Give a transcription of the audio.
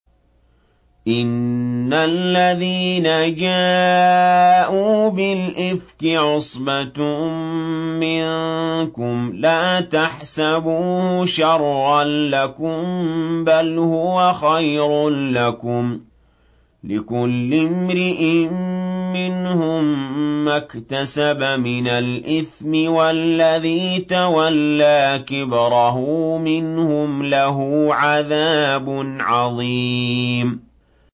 إِنَّ الَّذِينَ جَاءُوا بِالْإِفْكِ عُصْبَةٌ مِّنكُمْ ۚ لَا تَحْسَبُوهُ شَرًّا لَّكُم ۖ بَلْ هُوَ خَيْرٌ لَّكُمْ ۚ لِكُلِّ امْرِئٍ مِّنْهُم مَّا اكْتَسَبَ مِنَ الْإِثْمِ ۚ وَالَّذِي تَوَلَّىٰ كِبْرَهُ مِنْهُمْ لَهُ عَذَابٌ عَظِيمٌ